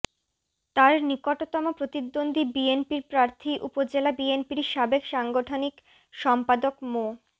তার নিকটতম প্রতিদ্বন্দ্বী বিএনপির প্রার্থী উপজেলা বিএনপির সাবেক সাংগঠনিক সম্পাদক মো